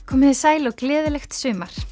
komiði sæl og gleðilegt sumar